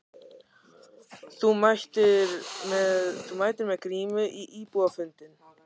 Jóhann: Þú mætir með grímu á íbúafundinn?